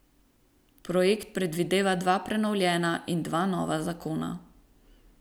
Projekt predvideva dva prenovljena in dva nova zakona.